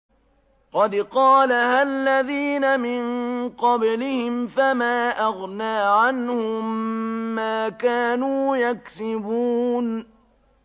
قَدْ قَالَهَا الَّذِينَ مِن قَبْلِهِمْ فَمَا أَغْنَىٰ عَنْهُم مَّا كَانُوا يَكْسِبُونَ